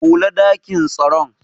Kule dakin tsaron.